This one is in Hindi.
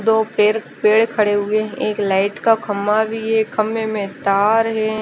दो पेड़ पुरे खड़े हुए है एक लाइट का खम्बा भी है खम्बे में तार है।